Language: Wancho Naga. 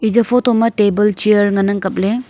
eya photo ma table chair ngan ang kapley.